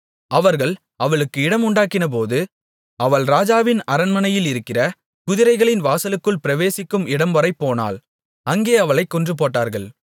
அவர்கள் அவளுக்கு இடமுண்டாக்கினபோது அவள் ராஜாவின் அரண்மனையிலிருக்கிற குதிரைகளின் வாசலுக்குள் பிரவேசிக்கும் இடம்வரை போனாள் அங்கே அவளைக் கொன்றுபோட்டார்கள்